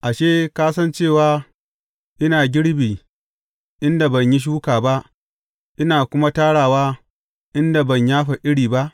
Ashe, ka san cewa ina girbi inda ban yi shuka ba, ina kuma tarawa inda ban yafa iri ba?